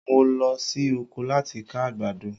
Mo lọ sí oko láti ká àgbàdo